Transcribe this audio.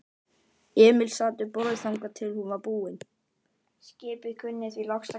Emil sat við borðið þangað til hún var búin.